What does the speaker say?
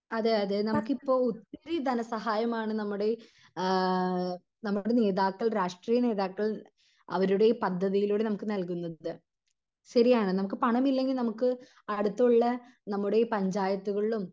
അതെയതെ നമുക്കിപ്പൊ ഒത്തിരി ധനസഹായം ആണ് നമ്മുടെ ആഹ് നമ്മുടെ നേതാക്കൾ രാഷ്ട്രീയ നേതാക്കൾ അവരുടെ പദ്ധതിയിലൂടെ നമുക്ക് നൽകുന്നത് ശെരിയാണ് നമുക് പണമില്ലെങ്കി നമുക്ക് അടുത്തുള്ള നമ്മുടെ ഈ പഞ്ചായത്തുകളിലും